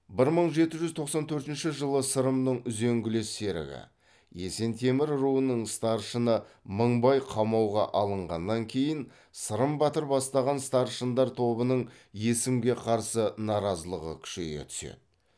бір мың жеті жүз тоқсан төртінші жылы сырымның үзеңгілес серігі есентемір руының старшыны мыңбай қамауға алынғаннан кейін сырым батыр бастаған старшындар тобының есімге қарсы наразылығы күшейе түседі